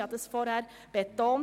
Das habe ich vorhin betont: